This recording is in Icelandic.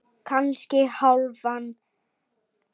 Kannski hálfan.